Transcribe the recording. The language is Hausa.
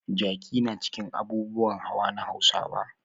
Jaki na cikin abubuwan hawa na Hausawa.